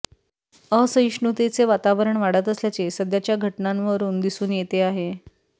असहिष्णूतेचे वातावरण वाढत असल्याचे सध्याच्या घटनांवरून दिसून येते अहे